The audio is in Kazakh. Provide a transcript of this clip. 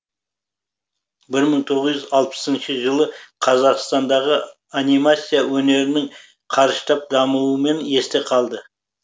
бір мың тоғыз жүз алпысыншы жылы қазақстандағы анимация өнерінің қарыштап дамуымен есте қалды